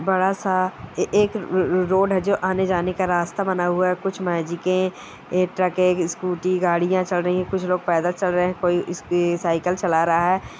बड़ा-सा ए एक रोड है जो आने-जाने का रास्ता बना हुआ है। कुछ मैजिके ट्रकें स्कूटी गाड़ियाँ चल रही है कुछ लोग पैदल चल रहे हैं कोई ए स साइकिल चला रहा है।